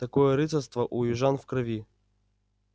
такое рыцарство у южан в крови